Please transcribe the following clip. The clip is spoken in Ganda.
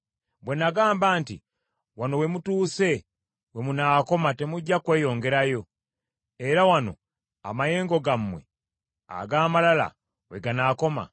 bwe nagamba nti, Wano we mutuuse we munaakoma temujja kweyongerayo, era wano amayengo gammwe ag’amalala we ganaakoma?